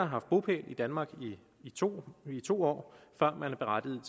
haft bopæl i danmark i to to år før man er berettiget